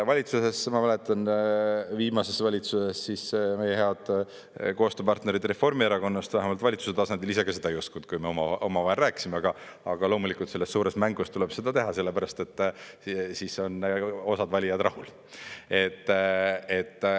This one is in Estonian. Valitsuses, ma mäletan, viimases valitsuses siis, meie head koostööpartnerid Reformierakonnast vähemalt valitsuse tasandil ise seda ei uskunud, kui me oma omavahel rääkisime, aga loomulikult, selles suures mängus tuleb seda teha, sellepärast et siis on osa valijaid rahul.